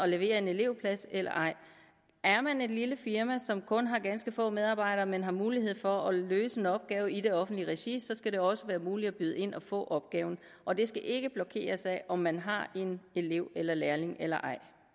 levere en elevplads eller ej er man et lille firma som kun har ganske få medarbejdere men har mulighed for at løse en opgave i det offentlige regi så skal det også være muligt at byde ind og få opgaven og det skal ikke blokeres af om man har en elev eller lærling eller